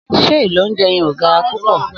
Sé èló ounjé yen o gárá púpõ?